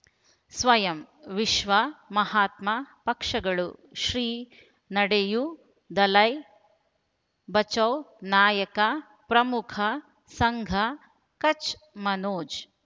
ಸ್ವಯಂ ವಿಶ್ವ ಮಹಾತ್ಮ ಪಕ್ಷಗಳು ಶ್ರೀ ನಡೆಯೂ ದಲೈ ಬಚೌ ನಾಯಕ ಪ್ರಮುಖ ಸಂಘ ಕಚ್ ಮನೋಜ್